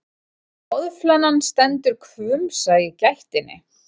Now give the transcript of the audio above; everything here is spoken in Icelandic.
Boðflennan stendur hvumsa í gættinni.